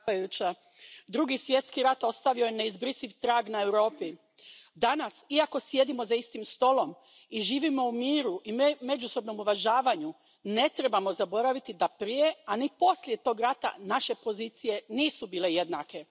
Poštovana predsjedavajuća, Drugi svjetski rat ostavio je neizbrisiv trag na Europi. Danas, iako sjedimo za istim stolom i živimo u miru i međusobnom uvažavanju, ne trebamo zaboraviti da prije a ni poslije tog rata naše pozicije nisu bile jednake.